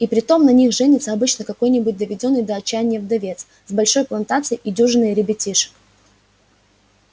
и притом на них женится обычно какой-нибудь доведённый до отчаяния вдовец с большой плантацией и дюжиной ребятишек